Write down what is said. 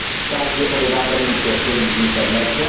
Każdy obywatel mógł ją śledzić w internecie.